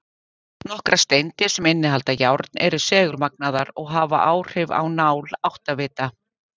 Nokkrar steindir, sem innihalda járn, eru segulmagnaðar og hafa áhrif á nál áttavita.